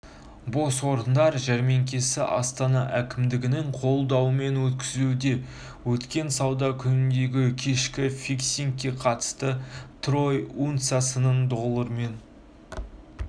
бос орындар жәрмеңкесі астана әкімдігінің қолдауымен өткізілуде өткен сауда күніндегі кешкі фиксингке қатысты трой унциясының доллармен